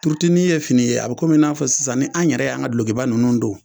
Turutunin ye fini ye, a bɛ kɔmi n'a fɔ sisan ni an yɛrɛ y'an ka dulɔkiba ninnu don